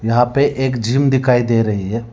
यहां पे एक जिम दिखाई दे रही है।